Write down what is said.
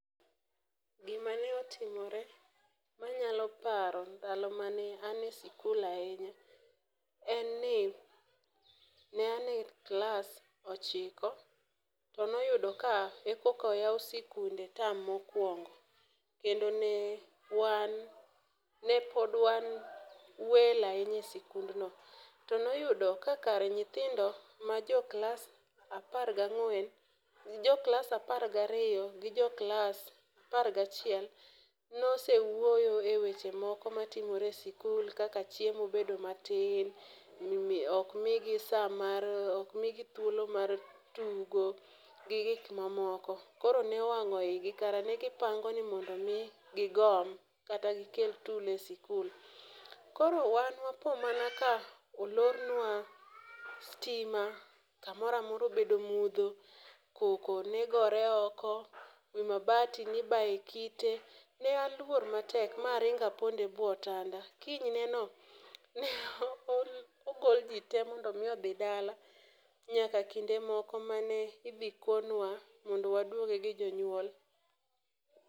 Gimane otimore manyalo paro ndalo ma ne an e sikul ahinya, en ni ne an e klas ochiko to noyudo ka e kokoyaw sikunde tam mokwongo kendo ne pod wan welo ahinya e sikundno to noyudo ka kar nyithindo ma joklas apar gariyo gi jo klas apar gachiel nosewuoyo e weche moko matimore e sikul kaka chiemo bedo matin, ok migi thuolo mar tugo gi gik mamoko. Koro nowang'o igi kara ne gipango ni mondo omi gigom kata gikel tulo e sikul, koro wan wapo mana kolornwa stima, kamoro amora obedo mudho, koko ne gore oko, wi mabati nibaye kite. Ne aluor matek maringo apondo e bwo otanda. Kinyne no ne ogol ji te mondo omi odhi dala nyaka kinde moko ma ne ibi konwa mondo waduoge gi jonyuol.